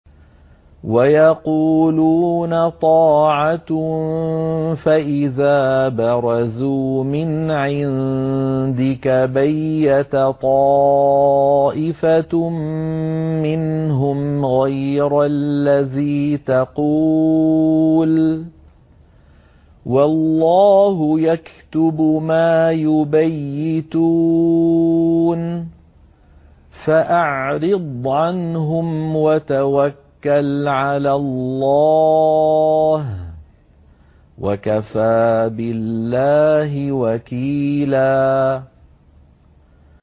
وَيَقُولُونَ طَاعَةٌ فَإِذَا بَرَزُوا مِنْ عِندِكَ بَيَّتَ طَائِفَةٌ مِّنْهُمْ غَيْرَ الَّذِي تَقُولُ ۖ وَاللَّهُ يَكْتُبُ مَا يُبَيِّتُونَ ۖ فَأَعْرِضْ عَنْهُمْ وَتَوَكَّلْ عَلَى اللَّهِ ۚ وَكَفَىٰ بِاللَّهِ وَكِيلًا